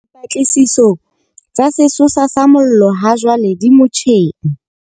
Dipatlisiso tsa sesosa sa mollo hajwale di motjheng.